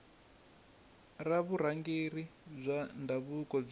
ra vurhangeri bya ndhavuko byi